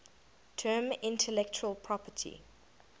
term intellectual property